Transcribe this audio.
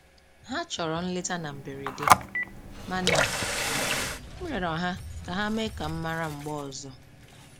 Ha chọrọ nleta na mberede, mana m rịọrọ ha ka ha mee ka m mara mgbe ọzọ